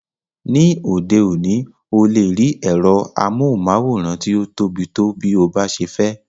Ní òde òní,o lè rí ẹ̀rọ amóhùnmáwòrán tí o tóbi tó bí o bá ṣe fẹ́.